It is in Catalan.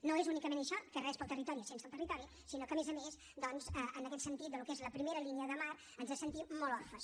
no és únicament això que res per al territori sense el territori sinó que a més a més doncs en aquest sentit del que és la primera línia de mar ens sentim molt orfes